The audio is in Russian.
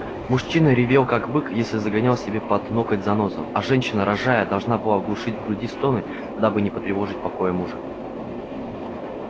мужчина ревел как бык если загонял себе под ноготь занозу а женщина рожая должна была глушить в груди стоны дабы не потревожить покоя мужа